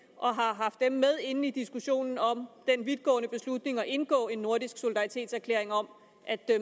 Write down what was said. og har haft dem med inde i diskussionen om den vidtgående beslutning om at indgå en nordisk solidaritetserklæring om at